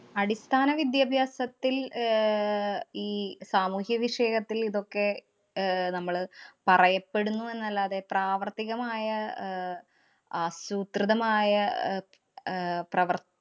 അടിസ്ഥാന വിദ്യാഭ്യാസത്തില്‍ ആഹ് ഈ സാമൂഹിക വിഷയത്തില്‍ ഇതൊക്കെ അഹ് നമ്മള് പറയപ്പെടുന്നു എന്നല്ലാതെ പ്രാവര്‍ത്തികമായ അഹ് ആസൂത്രിതമായ ആഹ് അഹ് പ്രവര്‍~